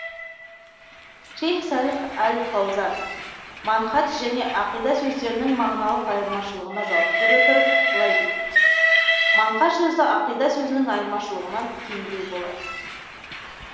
шейх салих әл фаузан манһадж және ақида сөздерінің мағыналық айырмашылығына жауап бере отырып былай дейді манхаж сөзі ақида сөзінің айырмашылығынан кеңдеу болады